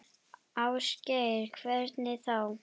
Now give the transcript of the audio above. Ásgeir: Hvernig þá?